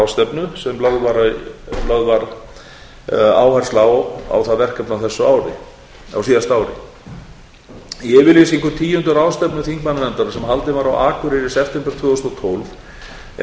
þeirrar ráðstefnu sem lögð var áhersla á á það verkefni á síðasta ári í yfirlýsingu tíundu ráðstefnu þingmannanefndarinnar sem haldin var á akureyri í september tvö þúsund og